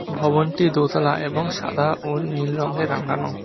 ভবনটি দোতলা এবং সাদা ও নীল রংয়ে রাঙানো।